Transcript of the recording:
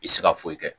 I tɛ se ka foyi kɛ